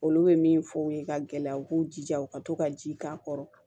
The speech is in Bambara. Olu bɛ min fɔ u ye ka gɛlɛya u k'u jija u ka to ka ji k'a kɔrɔ